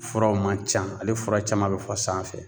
Furaw man ca ale fura caman be fɔ sanfɛ.